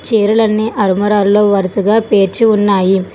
చీరలన్నీ అర్మరాల్లో వరుసగా పేర్చి ఉన్నాయి.